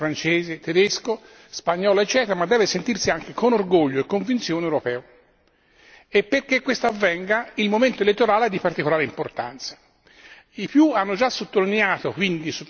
Un vero europeo deve sentirsi italiano, inglese, francese, tedesco, spagnolo, eccetera, ma deve sentirsi anche con orgoglio e convinzione europeo e perché questo avvenga il momento elettorale è di particolare importanza.